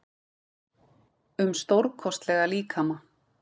um stórkostlega líkama.